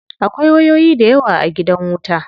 Akwai wayoyi dayawa a gidan wuta.